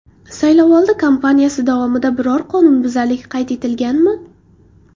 Saylovoldi kampaniyasi davomida biror qonunbuzarlik qayd etilganmi?